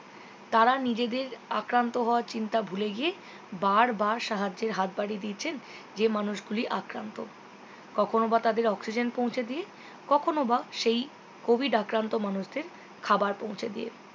তারা নিজেদের আক্রান্ত হওয়ার চিন্তা ভুলে গিয়ে বার বার সাহায্যের হাত বাড়িয়ে দিয়েছেন যেই মানুষ গুলি আক্রান্ত কখনও বা তাদের oxizen পৌঁছে দিয়ে কখনও বা সেই covid আক্রান্ত মানুষদের খাওয়ার পৌঁছে দিয়ে